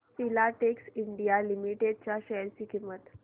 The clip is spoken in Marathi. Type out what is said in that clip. फिलाटेक्स इंडिया लिमिटेड च्या शेअर ची किंमत